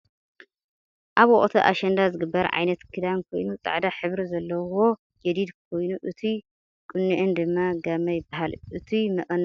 ኣብ ወቅቲ ኣሸንዳ ዝግበር ዓይነት ክዳን ኮይኑ ፃዕዳ ሕብሪ ዘለዎ ጀዲድ ኮይኑእቱይ ቁንኤን ድማ ጋመ ይብሃል እቱይ መቀነተን ናይ መን ክልል እዩ?